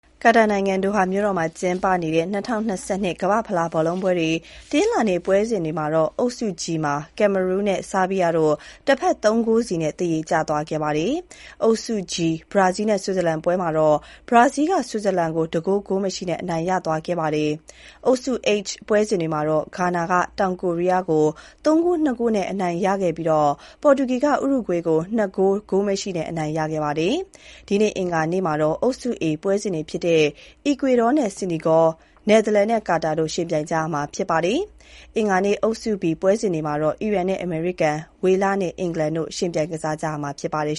ကာတာနိုင်ငံ၊ ဒိုဟာမှာကျင်းပနေတဲ့ 2022 ကမ္ဘာ့ဖလားဘောလုံးပွဲ တနင်္လာနေ့ ပွဲစဉ်တွေမှာတော့ အုပ်စု G မှာ Cameroon နဲ့ ဆားဘီးယားတို့ တဖက် ၃ ဂိုးစီ သရေကျသွားခဲ့ပါတယ်။ အုပ်စု G ဘရာဇီး နဲ့ ဆွစ်ဇာလန်ပွဲမှာ ဘရားဇီးက ဆွစ်ဇာလန်ကို တဂိုး ဂိုးမရှိနဲ့ အနိုင်ရသွားခဲ့ပါတယ်။ အုပ်စု H ပွဲစဉ်တွေမှာတော့ ဂါနာက တောင်ကိုရီးယားကို ၃ ဂိုး ၂ ဂိုးနဲ့ အနိုင်ရခဲ့ပြီး ပေါ်တူဂီက ဥရုဂွေးကို ၂ ဂိုး ဂိုးမရှိနဲ့ အနိုင်ရခဲ့ပါတယ်။ ဒီနေ့ အင်္ဂါနေ့မှာတော့ အုပ်စု A ပွဲစဉ်တွေဖြစ်တဲ့ အီကွေဒေါနဲ့ စီနီဂေါ၊ နယ်သာလန်နဲ့ ကာတာ တို့ ယှဉ်ပြိုင်ကြမှာ ဖြစ်ပါတယ်။ အင်္ဂါနေ့ အုပ်စု B ပွဲစဉ်တွေမှာတော့ အီရန်နဲ့ အမေရိကန်၊ ဝေလနဲ့ အင်္ဂလန်တို့ ယှဉ်ပြိုင်ကစားကြမှာ ဖြစ်ပါတယ်